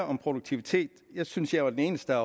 om produktiviteten jeg synes jeg er den eneste